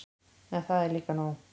En það er líka nóg.